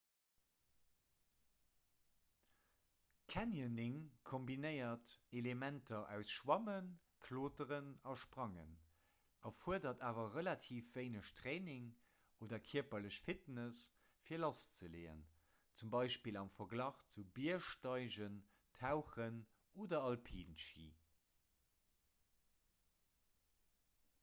canyoning kombinéiert elementer aus schwammen kloteren a sprangen – erfuerdert awer relativ wéineg training oder kierperlech fitness fir lasszeleeën zum beispill am verglach zu biergsteigen tauchen oder alpinschi